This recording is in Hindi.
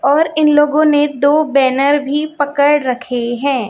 और इन लोगों ने दो बैनर भी पकड़ रखे है।